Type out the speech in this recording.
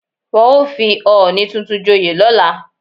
Wọ́n ó fi ọọ̀ni tuntun joyè lọ́la